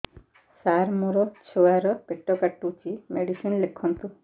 ସାର ମୋର ଛୁଆ ର ପେଟ କାଟୁଚି ମେଡିସିନ ଲେଖନ୍ତୁ